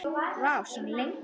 Vá, svona lengi?